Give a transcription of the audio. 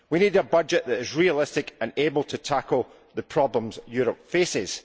We need a budget that is realistic and able to tackle the problems Europe faces.